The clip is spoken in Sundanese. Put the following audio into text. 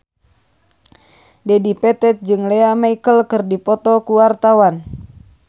Dedi Petet jeung Lea Michele keur dipoto ku wartawan